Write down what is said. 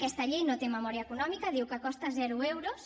aquesta llei no té memòria econòmica diu que costa zero euros